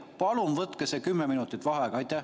Palun võtke see 10 minutit vaheaega!